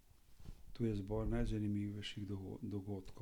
Tu je izbor najzanimivejših odgovorov.